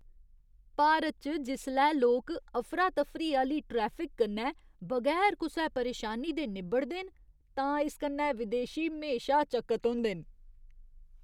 भारत च जिसलै लोक अफरा तफरी आह्‌ली ट्रैफिक कन्नै बगैर कुसै परेशानी दे निब्बड़दे न तां इस कन्नै विदेशी म्हेशा चकत होंदे न।